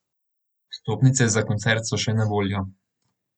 Vstopnice za koncert so še na voljo.